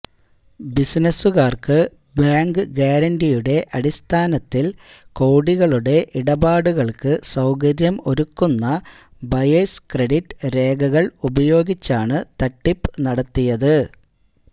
ബിസിനസുകാര്ക്ക് bank ഗ്യാരണ്ടിയുടെ അടിസ്ഥാനത്തില് കോടികളുടെ ഇടപാടുകള്ക്ക് സൌകര്യം ഒരുക്കുന്ന ബയേഴ്സ് ക്രെഡിറ്റ് രേഖകള് ഉപയോഗിച്ചാണ് തട്ടിപ്പ് നടത്തിയത്